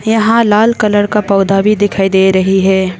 यहाँ लाल कलर का पौधा भी दिखाई दे रही हैं।